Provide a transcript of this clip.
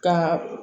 Ka